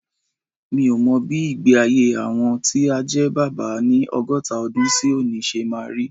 Mi ò mọ bí ìgbé-ayé àwọn tí á jẹ́ bàbá ni ọgọ́ta ọdún sí òní ṣe máa rí.